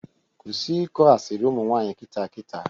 Kwụsị ịkọ asịrị ụmụnwanyị kịta kịta!